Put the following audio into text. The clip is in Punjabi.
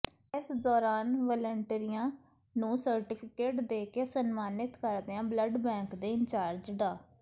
ਇਸ ਦੌਰਾਨ ਵਲੰਟੀਅਰਾਂ ਨੂੰ ਸਰਟੀਫਿਕੇਟ ਦੇ ਕੇ ਸਨਮਾਨਿਤ ਕਰਦਿਆਂ ਬਲੱਡ ਬੈਂਕ ਦੇ ਇੰਚਾਰਜ ਡਾ